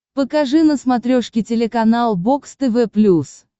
покажи на смотрешке телеканал бокс тв плюс